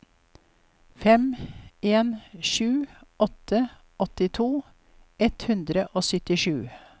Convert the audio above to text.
fem en sju åtte åttito ett hundre og syttisju